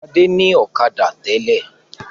Fadé ní ọ̀kadà tẹ́lẹ̀.